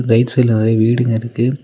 Right சைட்ல நறையா வீடுங்க இருக்கு.